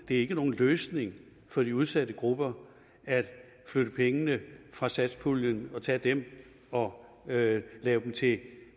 det ikke er nogen løsning for de udsatte grupper at flytte pengene fra satspuljen og tage dem og lave lave dem til